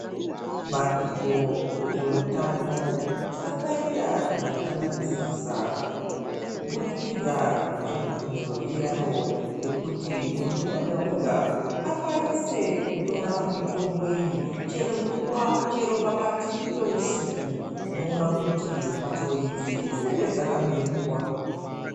Bandiko rezveutano rakaita zvakanakisisa kubudikidza netsvakurudzo yaro yekuti muntu wega wega akwanise kutora mitombo iyi chero nguwa, chero pakati peusiku. Unoona kuti mbatso idzi dzinenge dzakabeurwa.